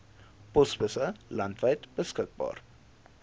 posbusse landwyd beskikbaar